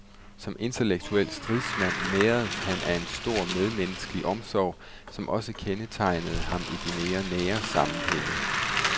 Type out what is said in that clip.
Som intellektuel stridsmand næredes han af en stor medmenneskelig omsorg, som også kendetegnede ham i de mere nære sammenhænge.